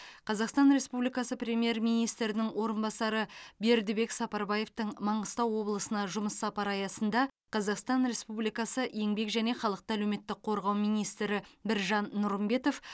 қазақстан республикасы премьер министрінің орынбасары бердібек сапарбаевтың маңғыстау облысына жұмыс сапары аясында қазақстан республикасы еңбек және халықты әлеуметтік қорғау министрі біржан нұрымбетов